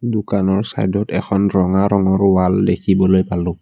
দোকানৰ চাইদ ত এখন ৰঙা ৰঙৰ ৱাল দেখিবলৈ পালোঁ।